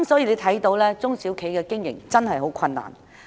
因此，中小企的經營真的十分困難。